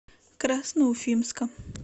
красноуфимска